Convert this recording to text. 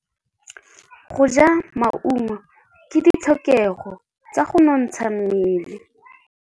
Go ja maungo ke ditlhokegô tsa go nontsha mmele.